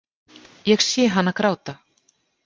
Ég sé hana gráta.